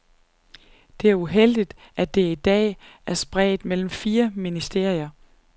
Det er uheldigt, at det i dag er spredt mellem fire ministerier.